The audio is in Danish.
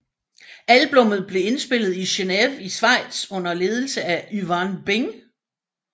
Albummet blev indspillet i Geneve i Schweiz under ledelse af Yvan Bing